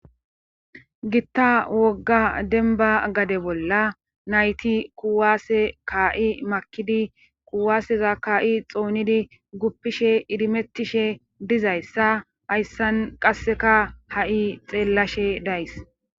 gitta wogga denba gade bolla nayti kuwaase kaa7i makidi kuwaaseza ka7i xoonidi guppishe idimettishe dizayssa hayssan qasseka ha7i xeellashe days